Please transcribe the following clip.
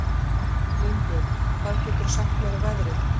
Línbjörg, hvað geturðu sagt mér um veðrið?